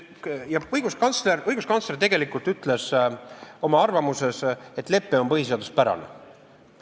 Õiguskantsler tegelikult ütles oma arvamuses, et lepe on põhiseaduspärane.